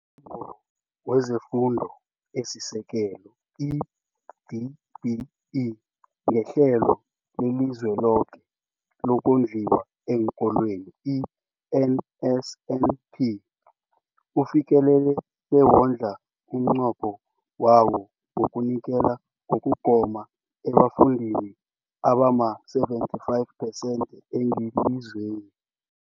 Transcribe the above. UmNyango wezeFundo esiSekelo, i-DBE, ngeHlelo leliZweloke lokoNdliwa eenKolweni, i-NSNP, ufikelele bewadlula umnqopho wawo wokunikela ngokugoma ebafundini abama-75 percent ngelizweni.